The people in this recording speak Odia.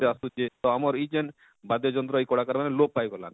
ଆସୁଛେ ତ ଆମର ଇଜେନ ବାଦ୍ୟ ଯନ୍ତ୍ର ଇ କଳାକାର ମାନେ ଲୋପ ପାଇ ଗଲାନ,